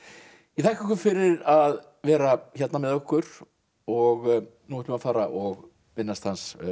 ég þakka ykkur fyrir að vera hérna með okkur og nú ætlum við að fara og minnast